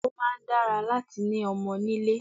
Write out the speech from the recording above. Ó máa ń dára láti ni ọmọ nílé